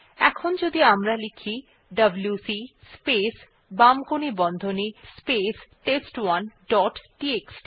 এখন যদি আমরা লিখি ডব্লিউসি স্পেস বামকোণী বন্ধনী স্পেস টেস্ট1 ডট টিএক্সটি